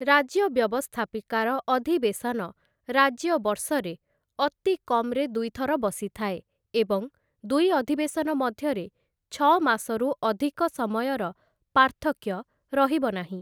ରାଜ୍ୟ ବ୍ୟବସ୍ଥାପିକାର ଅଧିବେଶନ ରାଜ୍ୟ ବର୍ଷରେ ଅତି କମ୍‌ରେ ଦୁଇଥର ବସିଥାଏ ଏବଂ ଦୁଇ ଅଧିବେଶନ ମଧ୍ୟରେ ଛଅମାସରୁ ଅଧିକ ସମୟର ପାର୍ଥକ୍ୟ ରହିବ ନାହିଁ ।